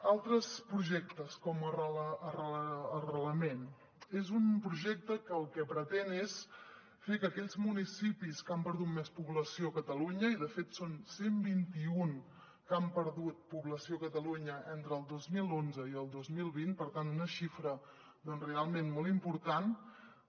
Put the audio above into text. altres projectes com arrelament és un projecte que el que pretén és fer que aquells municipis que han perdut més població a catalunya de fet són cent i vint un que han perdut població a catalunya entre el dos mil onze i el dos mil vint per tant una xifra realment molt important